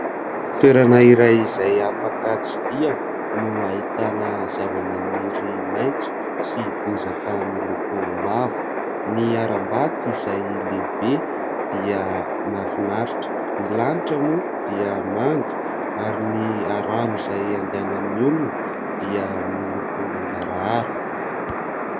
Toerana iray izay afaka tsidiana no ahitana zavamaniry maitso sy bozaka miloko mavo, ny harambato izay lehibe dia mahafinaritra, ny lanitra moa dia manga ary ny rano izay andehanan'ny olona dia miloko mangarahara.